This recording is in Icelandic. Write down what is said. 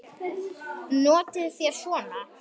Notið þér svona?